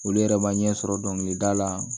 Olu yɛrɛ ma ɲɛ sɔrɔ dɔnkilida la